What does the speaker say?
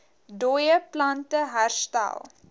dooie plante herstel